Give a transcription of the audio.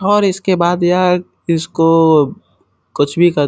और इसके बाद यह इसको कुछ भी क --